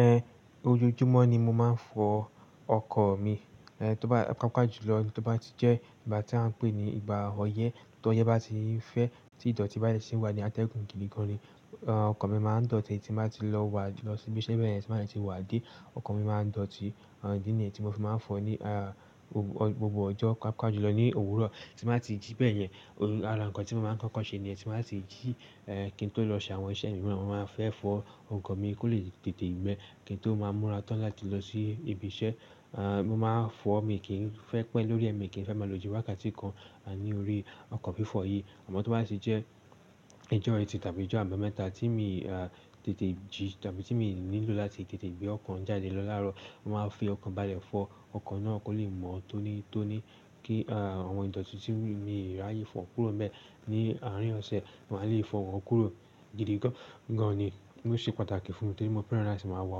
Ẹhn, ojoojúmọ́ ni mo máa ń fọ ọkọ̀ mi, ẹ́h tó bá paapa ju lọ, tó bá ti jẹ́ ìgbà tí a ń pè ní ìgbà ọyẹ́, ti ọyẹ́ bá ti ń fẹ́ tí ìdọ̀tí bá de ṣi wà ní atẹ́gùn gidi gan-an, ọkọ̀ mi máa ń dọ̀tí tí n bá ti lọ wá lọ síbi iṣẹ́ bẹ́ẹ̀ yẹn tí mo bá de ti wá dé, ọkọ̀ mi máa ń dọ̀tí, idi nìyen tí mo fi máa ń fọ ní ah, gbogbo ọjọ́ paapa ju lọ ní òwúrọ̀ tí mo bá ti jí bẹ́ẹ̀ yẹn, ara nǹkan tí mo máa ń kọ́kọ́ ṣe ni yẹ́n tí n bá ti jí, ẹ́ kí n tó lọ ṣe àwọn iṣẹ́ mi, mo máa n fẹ́ fọ ọkọ̀ mi kó lè tètè gbẹ̀ kí n tó máa múra tán láti lọ sí ibi iṣẹ́. Ah, mo máa fọ mi kí n fẹ́ pẹ́ lórí ẹ̀, mi kí n fẹ́ máa lo jù wákàtí kan a ní orí ọkọ̀ fífọ̀ yìí. Àmọ́ tó bá ti jẹ́ ìjọ́ eetì tàbí ìjọ́ àbámẹ́ta tí mi a tètè jí tàbí tí mi nílò láti tètè gbé ọkọ̀ ń jáde lọ láàárọ̀, mo máa fi ọkan bàlẹ̀ fọ ọkọ̀ náà kó lè mọ́ tónítóní kí a àwọn ìdọ̀tí tí mi ráyè fọ kúrò n bẹ́ẹ̀ ní àárín ọ̀sẹ̀ máa lè fọ̀ wọ́n kúrò gidi gan-an ni. Ó ṣe pàtàkì fún mi torí mo feràn lati máa wa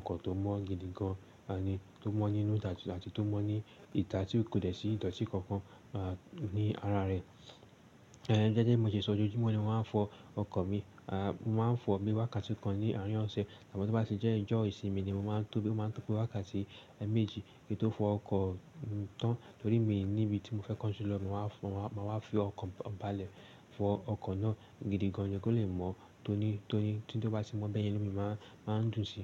ọkọ̀ tó mọ́ gidi gan-an ni, tó mọ́ nínú ati to mo ni ìtà tí kò de ṣi ìdọ̀tí kankan a ní ara rẹ̀. Ẹ́n jẹ́jẹ́ bi mo ti sọ ojoojúmọ́ ni mo máa ń fọ ọkọ̀ mi, a mo máa ń fọ ni wákàtí kan ní àárín ọ̀sẹ̀. Àmọ́ tó bá ti jẹ́ ìjọ́ ìsinmi ni mo máa ń tóbí ó máa ń tó pé wákàtí méjì kí n tó fọ ọkọ̀ tán torí mi níbi tí mo fẹ́ kánju lọ, mo máa wá, mo máa wá fi ọkọ̀ bàlẹ̀ fọ ọkọ̀ náà gidi gan-an ni kí ó lè mọ́ tónítóni tí ó bá ti mọ́ bẹ́ẹ̀ yẹn inu mí máa ń, máa ń dùnsí.